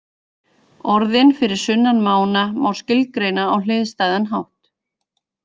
Orðin fyrir sunnan mána má skilgreina á hliðstæðan hátt.